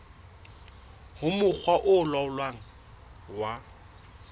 ho mokga o laolang wa